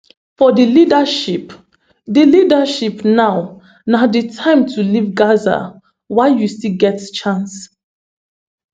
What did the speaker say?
for di leadership di leadership now na di time to leave gaza while you still get chance